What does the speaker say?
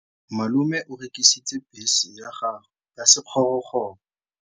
Malome o rekisitse bese ya gagwe ya sekgorokgoro.